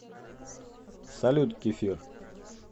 салют кефир